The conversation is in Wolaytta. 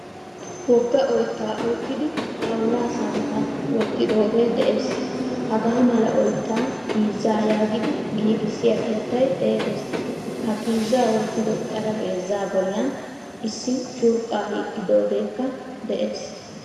Wogga oytta ukkidi xawulla samppan wottidoge de'ees. Hagaa mala oytta piizza yaagidi a giigisiya keettay xeegees. Ha piizza wottido xaraphpheezza bollan issi curqqa hiixidogekka de'ees.